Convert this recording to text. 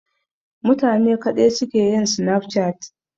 Matane kaɗai suke yin Snapchat?